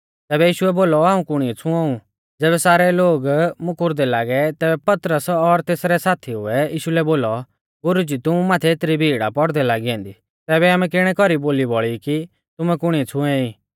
तैबै यीशुऐ बोलौ हाऊं कुणीऐ छ़ुंओऊ ज़ैबै सारै लोग मुकुरदै लागै तैबै पतरस और तेसरै साथीऊ ऐ यीशु लै बोलौ गुरुजी तुमु माथै एतरी भीड़ आ पौड़दै लागी ऐन्दी तैबै आमै किणै कौरी बोली बौल़ी कि तुमै कुणीऐ छ़ुऐं ई